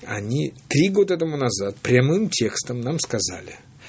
они три года тому назад прямым текстом нам сказали